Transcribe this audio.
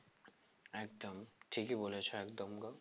একদম ঠিকই বলেছো একদম গো